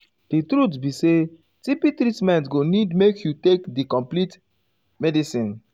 di truth be saytb treatment go need make you take di complete ehm medicine.